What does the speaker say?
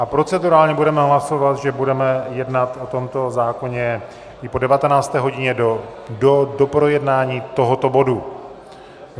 A procedurálně budeme hlasovat, že budeme jednat o tomto zákoně i po 19. hodině do doprojednání tohoto bodu.